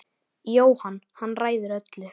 Jóhann: Hann ræður öllu?